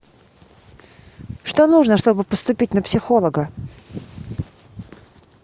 что нужно чтобы поступить на психолога